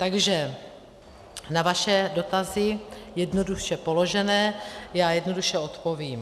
Takže na vaše dotazy jednoduše položené já jednoduše odpovím.